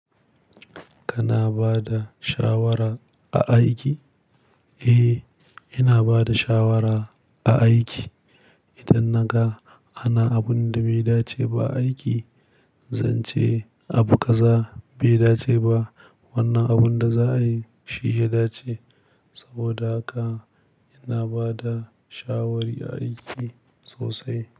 Kana bada shawara a aiki? Eh, ina bada shawara a aiki. Idan naga ana abun da bai dace ba a aiki, zance Abu ƙaza bai dace ba. Wannan abun da za a yi shi ya dace. Saboda haka ina bada shawari a aiki sosai.